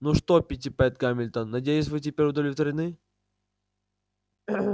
ну что питтипэт гамильтон надеюсь вы теперь удовлетворены